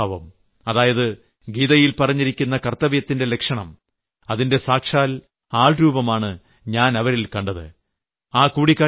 കർത്തവ്യ മനോഭാവം അതായത് ഗീതയിൽ പറഞ്ഞിരിക്കുന്ന കർത്തവ്യത്തിന്റെ ലക്ഷണം അതിന്റെ സാക്ഷാൽ ആൾരൂപമാണ് ഞാൻ അവരിൽ കണ്ടത്